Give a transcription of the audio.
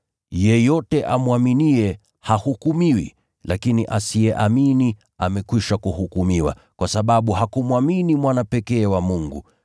Yeyote amwaminiye hahukumiwi, lakini asiyeamini amekwisha kuhukumiwa, kwa sababu hakuliamini jina la Mwana pekee wa Mungu.